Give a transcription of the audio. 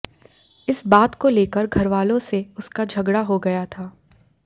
इस बात को लेकर घरवालों से उसका झगड़ा हो गया था